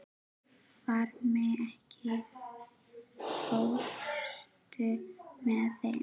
Varmi, ekki fórstu með þeim?